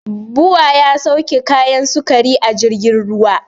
Bua ya sauke kayan sukari a jirgin ruwa